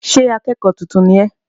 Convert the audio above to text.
Ṣé akẹ́kọ̀ọ́ tuntun ni ẹ́?